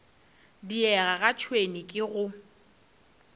diega ga tšhwene ke go